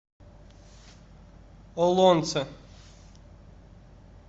олонце